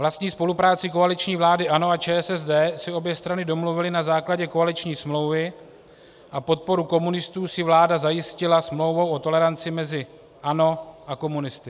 Vlastní spolupráci koaliční vlády ANO a ČSSD si obě strany domluvily na základě koaliční smlouvy a podporu komunistů si vláda zajistila smlouvou o toleranci mezi ANO a komunisty.